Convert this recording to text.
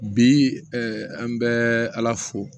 Bi an bɛ ala fo